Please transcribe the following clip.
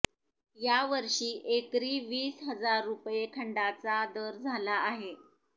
यावर्षी एकरी वीस हजार रुपये खंडाचा दर झाला आहे